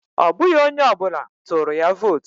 Ọ bụghị onye ọbụla tụrụ ya vootu